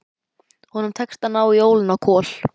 Honum tekst að ná í ólina á Kol.